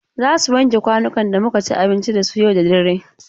Za su wanke kwanukan da muka ci abinci da su yau da dare.